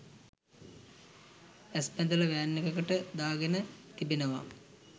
ඇස් බැඳලා වෑන් එකකට දා ගෙන තිබෙනවා